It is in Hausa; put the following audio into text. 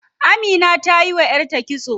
Amina tayi wa yarta kitso.